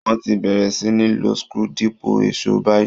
Wọ́n ti bẹ̀rẹ̀ sí ní lo screw dípò èṣó báyìi